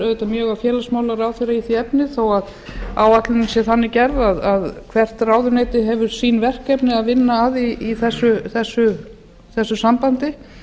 auðvitað mjög á félagsmálaráðherra í því efni þó að áætlunin sé þannig gerð að hvert ráðuneyti hefur sín verkefni að vinna að í þessu sambandi